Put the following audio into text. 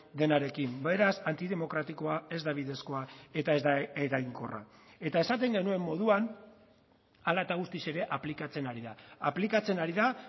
denarekin beraz antidemokratikoa ez da bidezkoa eta ez da eraginkorra eta esaten genuen moduan hala eta guztiz ere aplikatzen ari da aplikatzen ari da